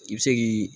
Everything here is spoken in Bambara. I bɛ se k'i